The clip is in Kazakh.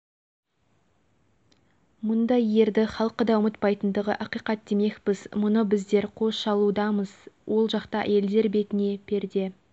автобусқа кіргенде әйелдер соңғы есіктен еркектер алдыңғы есіктен кіреді екен рас па деп таңдана сұрайтындар да